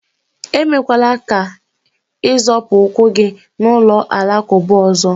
emekwala ka ị zọpụ ụkwụ gị n'ụlọ alakụba ọzọ